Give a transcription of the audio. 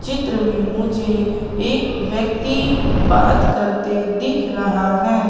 चित्र में मुझे एक व्यक्ति बात करते दिख रहा है।